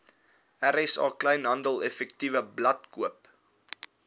rsa kleinhandeleffektewebblad koop